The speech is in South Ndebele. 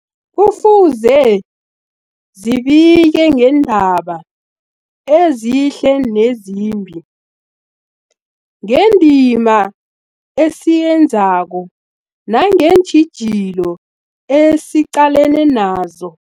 Kufuze zibike ngeendaba ezihle nezimbi, ngendima esiyenzako nangeentjhijilo esiqalene nazo.